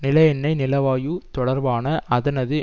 நில எண்ணெய் நிலவாயு தொடர்பான அதனது